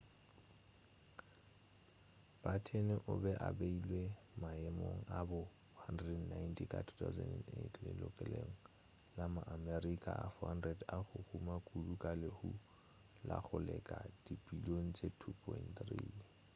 batten o be a beilwe maemong a bo 190 ka 2008 lelokelong la ma-america a 400 a go huma kudu ka lehumo la go leka dibilion tše $2.3